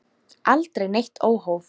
Aldrei neitt óhóf.